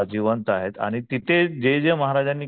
जिवंत आहेत आणि तिथे जे जे महाराजांनी केलं,